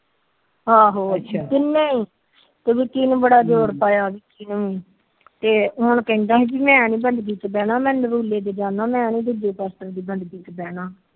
ਆਹੋ ਅੱਛਾ ਕਿੰਨੇ ਤੇ ਹੁਣ ਕਹਿੰਦਾ ਮੈ ਨੀ ਮੈ ਤੇ ਤੇ ਜਾਂਦਾ